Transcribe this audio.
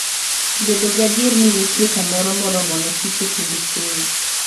Bedo gadier ni nitie kamoro moromo ne kich e kinde keyo.